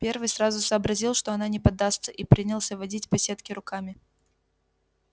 первый сразу сообразил что она не поддастся и принялся водить по сетке руками